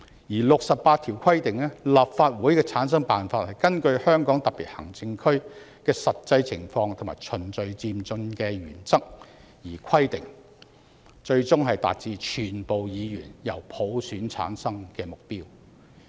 第六十八條規定"立法會的產生辦法根據香港特別行政區的實際情況和循序漸進的原則而規定，最終達至全部議員由普選產生的目標"。